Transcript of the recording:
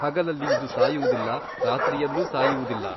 ಹಗಲಲ್ಲಿ ಇದು ಸಾಯುವುದಿಲ್ಲ ರಾತ್ರಿಯಲ್ಲೂ ಸಾಯುವುದಿಲ್ಲ.